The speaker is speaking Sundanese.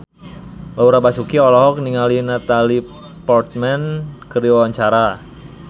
Laura Basuki olohok ningali Natalie Portman keur diwawancara